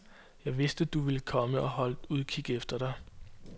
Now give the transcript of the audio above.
Jeg vidste, du ville komme, og holdt udkig efter dig.